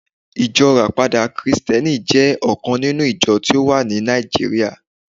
ijo rapada Kristẹni jẹ ọkan ninu ijọ ti o wa ni Naijiria